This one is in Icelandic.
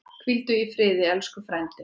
Hvíldu í friði elsku frændi.